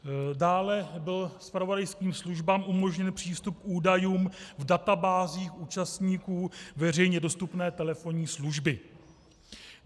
Dále byl zpravodajským službám umožněn přístup k údajům v databázích účastníků veřejně dostupné telefonní služby.